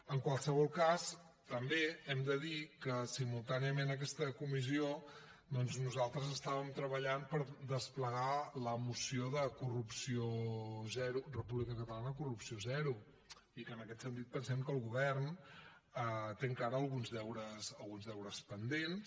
en qualsevol cas també hem de dir que simultàniament a aquesta comissió nosaltres treballàvem per desplegar la moció de república catalana corrupció zero i que en aquest sentit pensem que el govern té encara alguns deures pendents